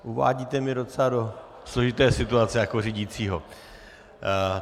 Uvádíte mě docela do složité situace jako řídícího.